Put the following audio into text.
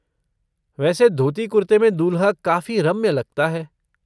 वैसे धोती कुर्ते में दूल्हा काफ़ी रम्य लगता है।